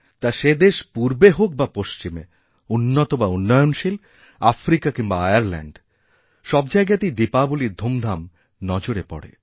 তা সে দেশ পূর্বে হোক বা পশ্চিমে উন্নত বাউন্নয়নশীল আফ্রিকা কিংবা আয়ার্ল্যাণ্ড সব জায়গাতেই দীপাবলীর ধুমধাম নজরে পড়ে